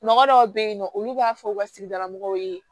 Mɔgɔ dɔw be yen nɔ olu b'a fɔ u ka sigida mɔgɔw ye